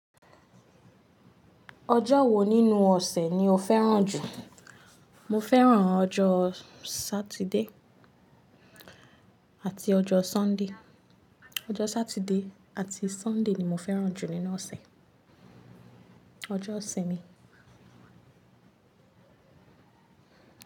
Ọjọ́ wo nínú ọ̀sẹ̀ ni o fẹ́ràn jù? Mo fẹ́ràn ọjọ́ Saturday àti ọjọ́ Sunday. Ọjọ́ Saturday àti Sunday ni mo fẹ́ràn jù nínú ọ̀sẹ̀. Ọjọ́ ìsinmi.